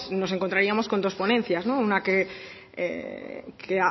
nos encontraríamos con dos ponencias una que